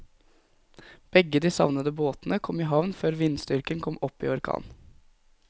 Begge de savnede båtene kom i havn før vindstyrken kom opp i orkan.